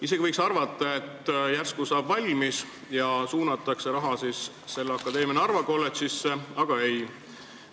Isegi võiks arvata, et järsku saab maja valmis ja raha suunatakse selle akadeemia Narva kolledžisse, aga ei.